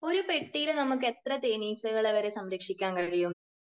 ഒരു പെട്ടിയിൽ നമുക്ക് എത്ര തേനീച്ചകളെ വരെ സംരക്ഷിക്കാൻ കഴിയും?